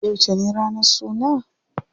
Yauce ne ranar suna?